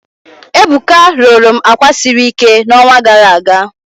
Ebuka rụrụ m àkwà siri ike n'ọnwa gara aga